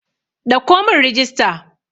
Ɗauko mun rijista!